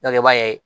i b'a ye